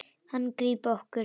Hann grípa okkur.